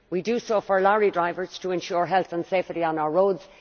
We do so for lorry drivers to ensure health and safety on our roads.